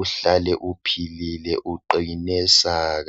uhlale uphilile uqine saka.